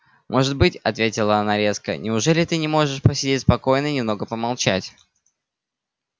может быть ответила она резко неужели ты не можешь посидеть спокойно и немного помолчать